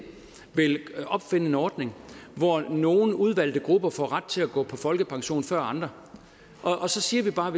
vil opfinde en ordning hvor nogle udvalgte grupper får ret til at gå på folkepension før andre så siger vi bare